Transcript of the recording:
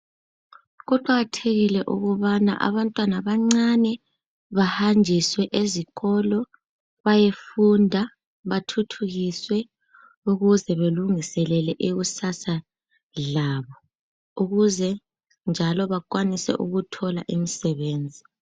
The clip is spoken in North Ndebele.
Kuqakathekile ukubana abantwana abancane bahanjiswe esikolo bayefunda bathuthukiswe ukuze balungiselele ikusasa labo. Ukuze njalo bakwanise ukuthola imisebenzi.